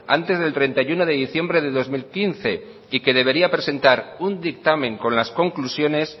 antes del treinta y uno de diciembre de dos mil quince y que debería presentar un dictamen con las conclusiones